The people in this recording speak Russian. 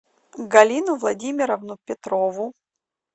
галину владимировну петрову